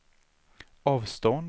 avstånd